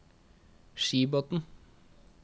Skibotn